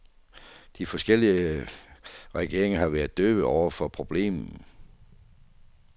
De forskellige regeringer har været døve over for problemet.